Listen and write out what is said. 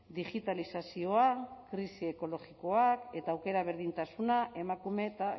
digitalizazioa krisi ekologikoa eta aukera berdintasuna emakume eta